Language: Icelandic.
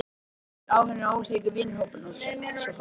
Ef til vill eru áhugamálin ólík, vinahópurinn og svo framvegis.